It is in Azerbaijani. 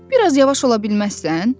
Biraz yavaş ola bilməzsən?